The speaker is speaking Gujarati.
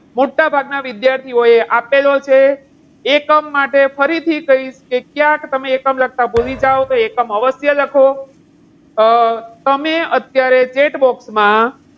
મોટાભાગના વિદ્યાર્થીઓએ આપેલો છે. એકમ માટે ફરીથી ક્યાંક તમે એકમ લખતા ભૂલી જાવ તો એકમ અવશ્ય લખો. અમ તમને અત્યારે chatbox માં